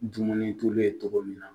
Dumuni tulu ye cogo min na